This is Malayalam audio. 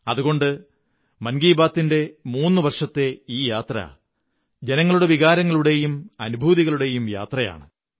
അതുകൊണ്ട് മൻ കീ ബാത്ത് ന്റെ മൂന്നു വര്ഷത്തെ ഈ യാത്ര ജനങ്ങളുടെ വികാരങ്ങളുടെയും അനുഭൂതികളുടെയും യാത്രയാണ്